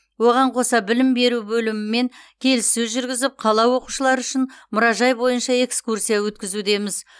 оған қоса білім беру бөлімімен келіссөз жүргізіп қала оқушылары үшін мұражай бойынша экскурсия өткізудеміз